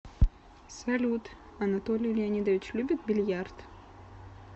салют анатолий леонидович любит бильярд